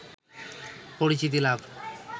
পরিচিতি লাভ